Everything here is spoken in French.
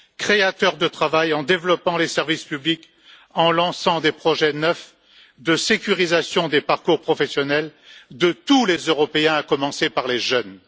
créateurs de travail, en développant les services publics, en lançant des projets neufs de sécurisation des parcours professionnels de tous les Européens, à commencer par les jeunes.